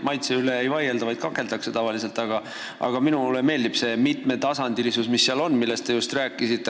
Maitse üle muidugi ei vaielda, vaid tavaliselt kakeldakse, aga minule meeldib see mitmetasandilisus, millest te just rääkisite.